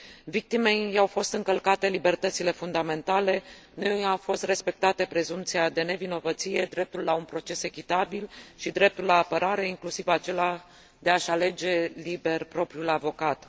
Victimei i au fost încălcate libertățile fundamentale, nu i au fost respectate prezumția de nevinovăție, dreptul la un proces echitabil și dreptul la apărare, inclusiv acela de a și alege liber propriul avocat.